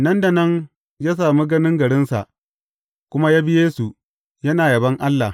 Nan da nan, ya sami ganin garinsa, kuma ya bi Yesu, yana yabon Allah.